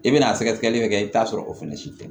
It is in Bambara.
I bɛna sɛgɛsɛgɛli min kɛ i bɛ t'a sɔrɔ o fana si tɛ